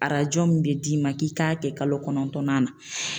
Arajo min bɛ d'i ma k'i k'a kɛ kalo kɔnɔntɔnnan na